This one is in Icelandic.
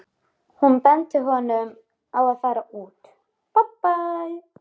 Hún benti honum á að fara út.